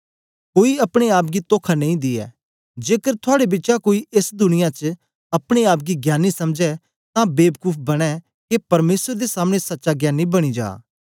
कोई अपने आप गी तोखा नेई दियै जेकर थुआड़े बिचा कोई एस दुनिया च अपने आप गी ज्ञानी समझै तां बेबकूफ बनें के परमेसर दे सामने सच्चा ज्ञानी बनी जा